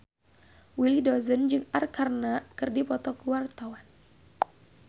Willy Dozan jeung Arkarna keur dipoto ku wartawan